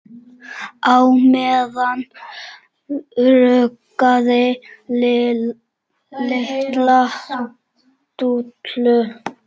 Á meðan ruggaði Lilla Dúllu.